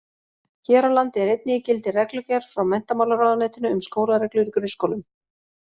Hér á landi er einnig í gildi reglugerð frá menntamálaráðuneytinu um skólareglur í grunnskólum.